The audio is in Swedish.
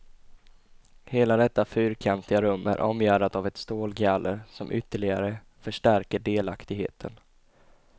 Hela detta fyrkantiga rum är omgärdat av ett stålgaller som ytterligare förstärker delaktigheten.